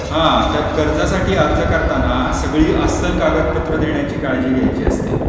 हा तर कर्जासाठी अर्ज करताना सगळी अस्सल कागदपत्र देण्याची काळजी घ्यायची असते.